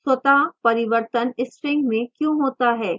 स्वतः परिवर्तन string में क्यों होता है